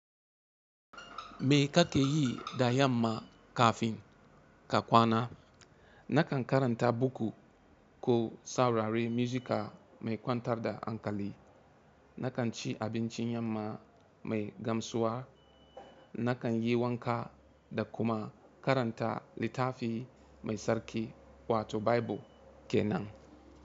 Me ka ke yi da yamma kafin ka kwana? Na kan karanta buku ko saurari muzika mai kwantar da hankali. Na kan ci abincin yamma mai gamsuwa. Na kan yi wanka da kuma karanta littafi mai tsarki wato Baibul ke nan.